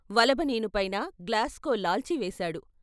వలబనీనుపైన గ్లాస్కో లాల్చి వేశాడు.